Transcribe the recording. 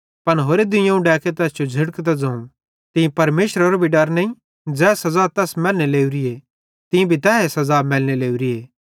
पन होरे दुइयोवं डैके तैस जो झ़िड़कतां ज़ोवं तीं परमेशरेरो भी डर नईं ज़ै सज़ा तैस मैलने लावरी तीं भी त तैए सज़ा मैलने लोरीए